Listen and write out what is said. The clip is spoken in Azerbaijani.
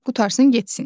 Qurtarsın getsin.